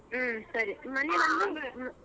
ಹ್ಮ ಸರಿ .